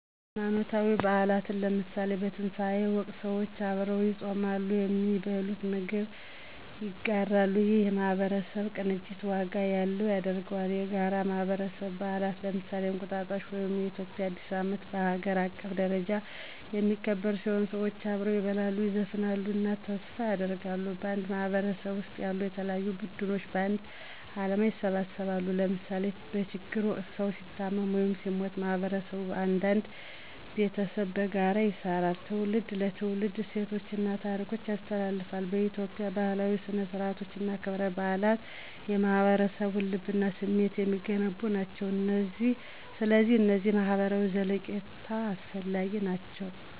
ሃይማኖታዊ በዓላት ለምሳሌ፣ በትንሣኤ ወቅት ሰዎች አብረው ይጾማሉ፣ ከሚበሉት ምግብ ያጋራሉ፣ ይህም የማህበረሰብ ቅንጅት ዋጋ ያለው ያደርገዋል። የጋራ የማህበረሰብ በዓላት ለምሳሌ፣ እንቁጣጣሽ (የኢትዮጵያ አዲስ ዓመት) በሀገር አቀፍ ደረጃ የሚከበር ሲሆን፣ ሰዎች አብረው ይበላሉ፣ ይዘፍናሉ እና ተስፋ ያደርጋሉ። በአንድ ማህበረሰብ ውስጥ ያሉ የተለያዩ ቡድኖች በአንድ ዓላማ ይሰባሰባሉ ለምሳሌ በችግር ወቅት ሰዉ ሲታመም ወይም ሲሞት ማህበረሰቡ እንደ አንድ ቤተሰብ በጋራ ይሰራል። ትውልድ ለትውልድ እሴቶችን እና ታሪኮችን ያስተላልፋል። በኢትዮጵያ፣ ባህላዊ ሥነ-ሥርዓቶች እና ክብረ በዓላት የማህበረሰቡን ልብ እና ስሜት የሚገነቡ ናቸው። ስለዚህ እነዚህ ለማህበራዊ ዘለቄታ አስፈላጊ ናቸው!